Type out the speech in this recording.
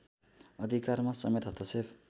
अधिकारमा समेत हस्तक्षेप